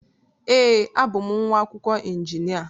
Ee, abụ m nwa akwụkwọ injinia.